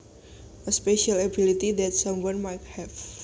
A special ability that someone might have